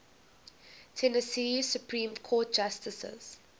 tennessee supreme court justices